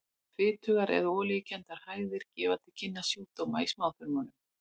Fitugar eða olíukenndar hægðir gefa til kynna sjúkdóma í smáþörmum.